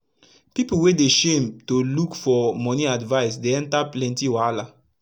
pipu wey dey shame to luk for moni advise dey enta plenty wahala